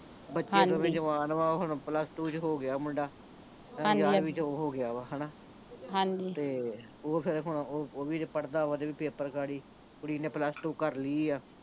ਹਾਂਜੀ ਬੱਚੇ ਦੋਵੇਂ ਹੀ ਜਵਾਨ ਵਾਂ ਹੁਣ ਪਲੱਸ ਟੂ ਚ ਹੋ ਗਿਆ ਵਾ ਮੁੰਡਾ ਯਾਨੀ ਗਿਆਰਵੀਂ ਚ ਚ ਹੋ ਗਿਆ ਵਾ ਹਣਾ ਹਾਂਜੀ ਤੇ ਓਹ ਫੇਰ ਹੁਣ ਓਹ ਵੀ ਤੇ ਪੜ੍ਹਦਾ ਵਾ ਉਹਦੇ ਵੀ ਪੇਪਰ ਗਾੜੀ ਕੁੜੀ ਨਏ ਪਲੱਸ ਟੁ ਕਰ ਲਈ ਆ